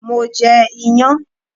Mo je iyan